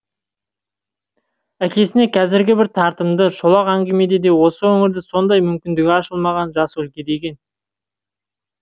әкесіне қазіргі бір тартымды шолақ әңгімеде де осы өңірді сондай мүмкіндігі ашылмаған жас өлке деген